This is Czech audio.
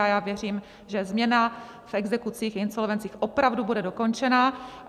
A já věřím, že změna v exekucích, insolvencích opravdu bude dokončena.